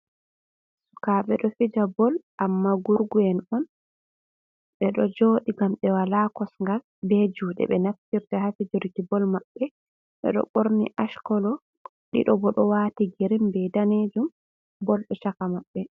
Sukaɓe ɗo fija bol amma gurgu'en on. Ɓeɗo joɗi ngam ɓe wala kosgal be juɗe ɓe naftirta haa fijorki bol maɓɓe. ɓeɗo ɓorni ash kolo, ɗiɗo bo ɗo waati girin be danejum, bol ɗo chaka maɓɓe.